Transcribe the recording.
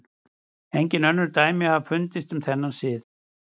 Engin önnur dæmi hafa fundist um þennan sið.